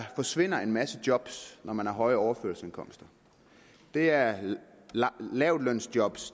forsvinder en masse job når man har høje overførselsindkomster det er lavtlønsjob